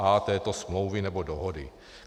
A této smlouvy nebo dohody.